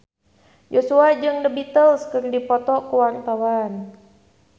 Joshua jeung The Beatles keur dipoto ku wartawan